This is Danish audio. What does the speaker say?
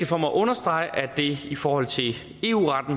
for mig at understrege at det i forhold til